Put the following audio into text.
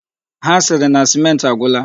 Ha siri na sèmenti agwụla.